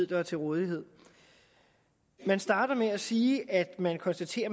der er til rådighed man starter med at sige at man konstaterer at